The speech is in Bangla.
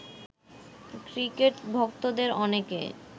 ক্রিকেট ভক্তদের অনেকে